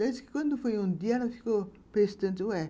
Desde que, quando foi um dia, ela ficou prestando, ué.